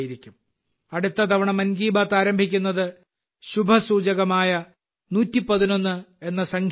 അടുത്ത തവണ മൻ കി ബാത്ത് ആരംഭിക്കുന്നത് ശുഭസൂചകമായ 111 എന്ന സംഖ്യയിലാണ്